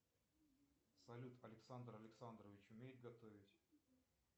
салют александр александрович умеет готовить